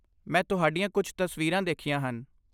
ਮੈਂ ਤੁਹਾਡੀਆਂ ਕੁਝ ਤਸਵੀਰਾਂ ਦੇਖੀਆਂ ਹਨ।